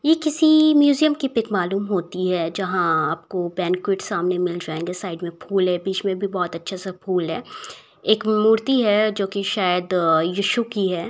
ये किसी म्युजियम की पिक मालूम होती है जहां आपको सामने मिल जाएंगे साइड में फूल हैं बीच में बहोत अच्छे से फूल हैं एक मूर्ति है जो कि सायद यीशु की है।